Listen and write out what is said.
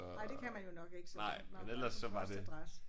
Nej det kan man jo nok ikke så det der må man have en anden postadresse